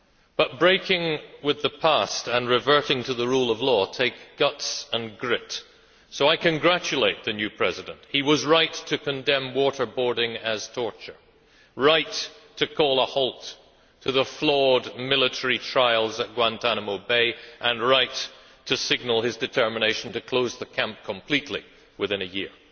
But breaking with the past and reverting to the rule of law take guts and grit, so I congratulate the new President. He was right to condemn waterboarding as torture, right to call a halt to the flawed military trials at Guantánamo Bay, and right to signal his determination to close the camp completely within a year.